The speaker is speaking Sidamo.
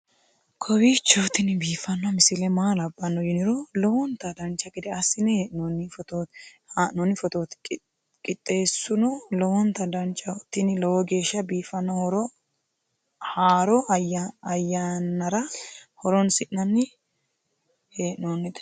kowiicho tini biiffanno misile maa labbanno yiniro lowonta dancha gede assine haa'noonni foototi qoxeessuno lowonta danachaho. tini lowo geeshsha biiffanno haaro uyannara horoonsi'nanni hee'noonite